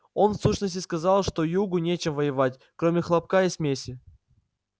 он в сущности сказал что югу нечем воевать кроме хлопка и смеси